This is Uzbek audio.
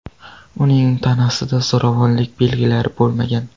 Uning tanasida zo‘ravonlik belgilari bo‘lmagan.